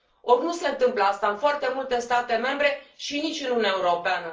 Or nu se întâmplă asta în foarte multe state membre și nici în Uniunea Europeană.